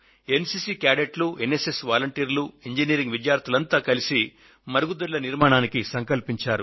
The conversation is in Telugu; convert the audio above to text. ఎన్ సి సి క్యాడెట్లు ఎన్ ఎస్ ఎస్ వాలంటీర్లు ఇంజినీరింగ్ విద్యార్థులంతా కలిసి మరుగుదొడ్ల నిర్మాణానికి సంకల్పించారు